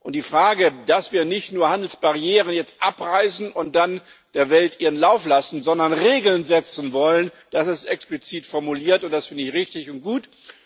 Und die Frage, dass wir jetzt nicht nur Handelsbarrieren abreißen und dann der Welt ihren Lauf lassen, sondern Regeln setzen wollen, das ist explizit formuliert, und das finde ich richtig und gut.